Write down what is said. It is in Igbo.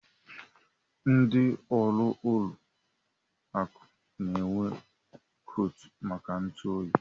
Ndị ọrụ ụlọ akụ n'enwe koot maka ntụ oyi.